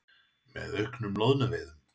með auknum loðnuveiðum.